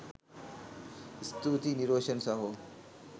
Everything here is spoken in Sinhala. ස්තුතියි නිරෝෂන් සහෝ